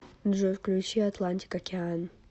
джой включи атлантик океан